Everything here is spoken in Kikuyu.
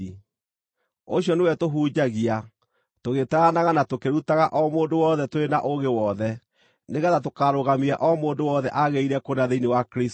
Ũcio nĩwe tũhunjagia, tũgĩtaaranaga na tũkĩrutaga o mũndũ wothe tũrĩ na ũũgĩ wothe, nĩgeetha tũkarũgamia o mũndũ wothe aagĩrĩire kũna thĩinĩ wa Kristũ.